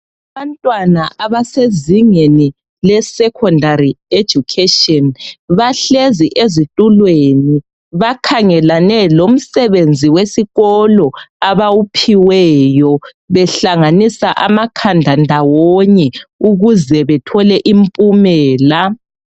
Abantwana abasezingeni lesecondary education bahlezi ezitulweni abakhangelane lomsebenzi wesikolo abawuphiweyo behlanganisa amakhanda ndawonye ukuze bethole impumela.